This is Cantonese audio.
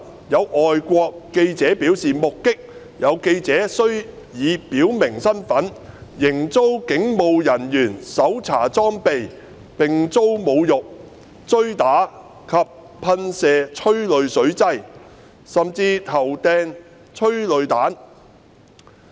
有外國記者表示，目擊有記者雖已表明身份，仍遭警務人員搜查裝備，並遭侮辱、追打及噴射催淚水劑，甚至投擲催淚彈。